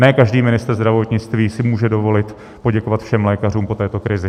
Ne každý ministr zdravotnictví si může dovolit poděkovat všem lékařům po této krizi.